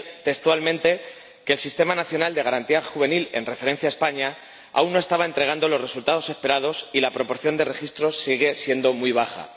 Decía textualmente que el sistema nacional de Garantía Juvenil, en referencia a España, aún no estaba entregando los resultados esperados y la proporción de registro sigue seguía siendo muy baja.